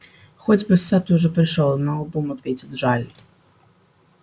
хоть бы сатт уже пришёл наобум ответил джаэль